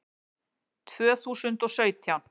Tvö þúsund og sautján